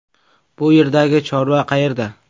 Bu yerdagi chorva qayerda?